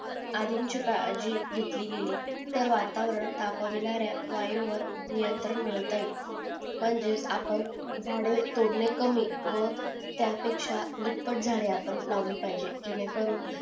आधीची काळजी घेतली गेली तर वातावरण तापविणाऱ्या वायूं वर नियंत्रण मिळवता येईल म्हणजेच आपण झाड एतोडने कमी व त्या पेक्षा दुपट झाडे लावली पाहिजे जेणे करून